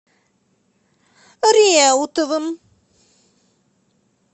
реутовым